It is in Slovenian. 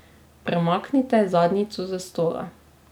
Premaknite zadnjico s stola.